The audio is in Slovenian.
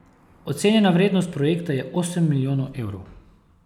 Ocenjena vrednost projekta je osem milijonov evrov.